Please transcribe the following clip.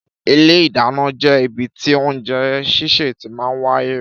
Ìlé ìdánà jẹ ìbítì oúnjẹ sise tí màa ń wàyé.